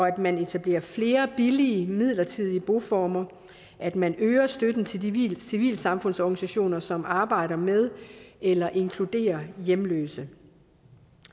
at man etablerer flere billige midlertidige boformer og at man øger støtten til de civilsamfundsorganisationer som arbejder med eller inkluderer hjemløse